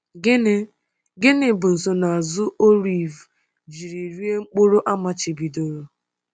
Gịnị Gịnị bụ nsonaazụ Orívu jiri rie mkpụrụ a machibidoro?